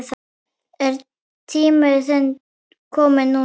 Er þinn tími kominn núna?